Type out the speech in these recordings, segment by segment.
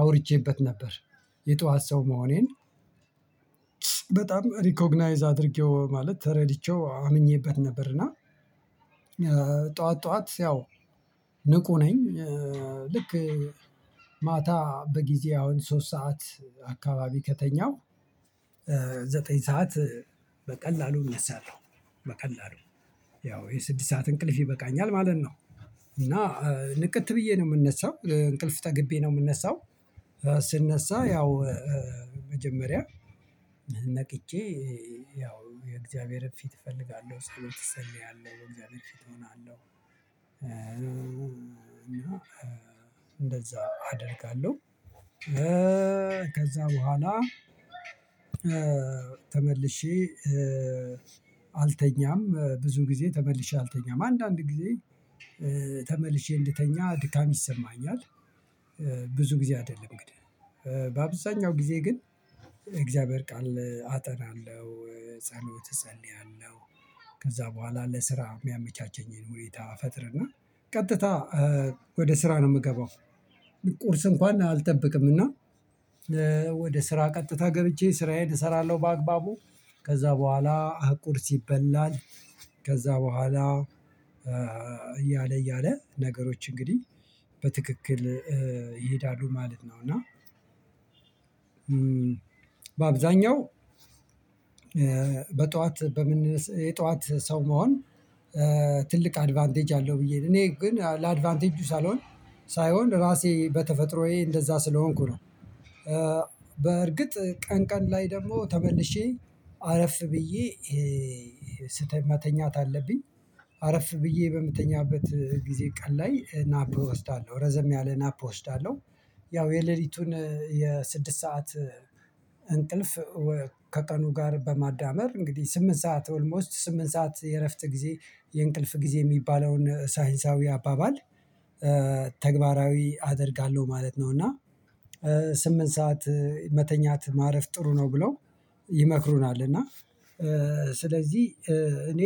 አውርቼበት ነበር የጧት ሰው መሆኔን። በጣም ሪኮግናይዝ አድርጌው ማለት ተረድቼው አምኜበት ነበር እና ጠዋት ጠዋት ያው ንቁ ነኝ። ልክ ማታ በጊዜ አሁን ሶስት ሰዓት አካባቢ ከተኛሁ ዘጠኝ ሰዓት በቀላሉ እነሳለሁ በቀላሉ ያው የስድስት ሰዓት እንቅልፍ ይበቃኛል ማለት ነው። እና ንቅት ብዬ ነው የምነሣው እንቅልፍ ተገቢ ነው የምነሣው ስነሳ ያው መጀመሪያ ነቅቼ ያው የእግዚአብሔርን ፊት እፈልጋለሁ ጸሎት እጸልያለሁ በእግዚአብሔር ፊት እሆናለሁ እንደዛ አደርጋለሁ። ከዛ በኋላ ተመልሼ አልተኛም ብዙ ጊዜ ተመልሼ አልተኛም አንዳንድ ጊዜ ተመልሼ እንድተኛ ድካም ይሰማኛል ብዙ ጊዜ አይደለም እንግዲህ በአብዛኛው ጊዜ ግን እግዚአብሔር ቃል አጠናለሁ ጸሎት እጸልያለሁ። ከዛ በኋላ ለስራ የሚያመቻቸኝን ሁኔታ እፈጥርና ቀጥታ ወደ ስራ ነው የምገባው ቁርስ እንኳን አልጠብቅምና ወደ ስራ ቀጥታ ገብቼ ስራዬን እሰራለሁ በአግባቡ። ከዛ በኋላ ቁርስ ይበላል ከዛ በኋላ እያለ እያለ ነገሮች እንግዲህ በትክክል ይሄዳሉ ማለት ነው። እና በአብዛኛው በጧት በምን የጧት ሰው መሆን ትልቅ አድቫንቴጅ አለው ብዬ እኔ ግን ለአድቫንቴጁ ሳልሆን ሳይሆን ራሴ በተፈጥሮዬ እንደዛ ስለሆንኩ ነው። ቀን ቀን ላይ ደግሞ ተመልሼ አረፍ ብዬ መተኛት አለብኝ አረፍ ብዬ በምተኛበት ጊዜ ቀን ላይ ናት እወስዳለሁ ረዘም ያለ ናፕ እወስዳለሁ። ያው የሌሊቱን የስድስት ሰዓት እንቅልፍ ከቀኑ ጋር በማዳመር እንግዲህ ስምንት ሰዓት ኦልሞስት ስምንት ሰዓት የእረፍት ጊዜ የእንቅልፍ ጊዜ የሚባለውን ሳይንሳዊ አባባል ተግባራዊ አደርጋለሁ ማለት ነው። እና ስምንት ሰዓት መተኛት ማረፍ ጥሩ ነው ብለው ይመክሩናል እና ስለዚህ እኔ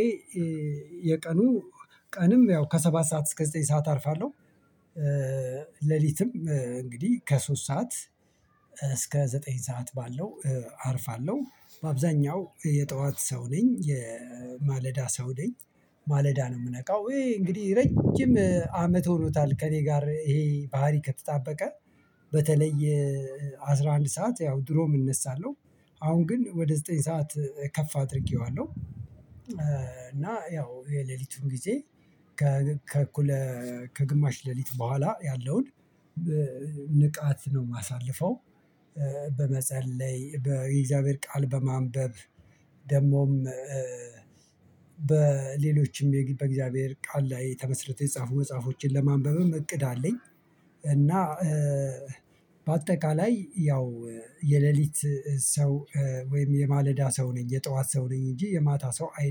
የቀኑ ቀንም ያው ከሰባት ሰዓት እስከ ዘጠኝ ሰዓት አርፋለሁ። ሌሊትም እንግዲህ ከሶስት ሰዓት እስከ ዘጠኝ ሰዓት ባለው አርፋለሁ። በአብዛኛው የጠዋት ሰው ነኝ የማለዳ ሰው ነኝ። ማለዳ ነው የምነቃው እንግዲህ ረጅም አመት ሆኖታል ከእኔ ጋር ይሄ ባህሪ ከተጣበቀ በተለየ አስራ አንድ ሰዓት ያው ድሮም እነሳለሁ አሁን ግን ወደ ዘጠኝ ሰዓት ከፍ አድርጌዋለሁ። እና ያው የሌሊቱን ጊዜ ከእኩለ ከግማሽ ሌሊት በኋላ ያለውን ንቃት ነው የማሳልፈው በመጸለይ በእግዚአብሔር ቃል በማንበብ ደግሞም በሌሎችም በእግዚአብሔር ቃል ላይ ተመሥርተው የተጻፉ መጽሐፎችን ለማንበብም እቅድ አለኝ። እና በአጠቃላይ ያው የሌሊት ሰው ወይም የማለዳ ሰው ነኝ የጠዋት ሰው ነኝ እንጂ የማታ ሰው አይ